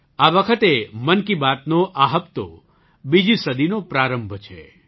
આ વખતે મન કી બાતનો આ હપ્તો બીજી સદીનો પ્રારંભ છે